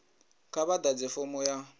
kha vha ḓadze fomo ya